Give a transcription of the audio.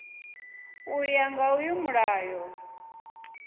u ya nga uyu mulayo